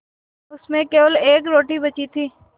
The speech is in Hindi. उसमें केवल एक रोटी बची थी